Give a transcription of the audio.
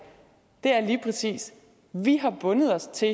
er lige præcis vi har bundet os til